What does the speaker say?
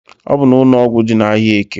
Ọbụ n'ụnọgwụ dị n'ahịa eke.